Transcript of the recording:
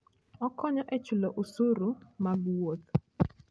Okonyo e chulo osuru mag wuoth.